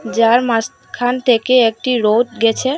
যার মাঝখান থেকে একটি রোড গেছে।